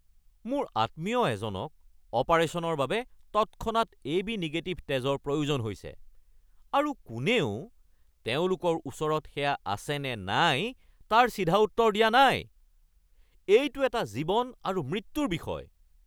মোৰ আত্মীয় এজনক অপাৰেশ্যনৰ বাবে তৎক্ষণাত এবি নিগেটিভ তেজৰ প্ৰয়োজন হৈছে আৰু কোনেও তেওঁলোকৰ ওচৰত সেয়া আছেনে নাই তাৰ চিধা উত্তৰ দিয়া নাই। এইটো এটা জীৱন আৰু মৃত্যুৰ বিষয়!